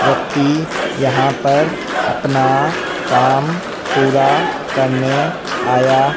व्यक्ति यहां पर अपना काम पूरा करने आया--